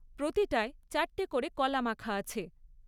প্রতিটায় চারটে করে কলা মাখা আছে।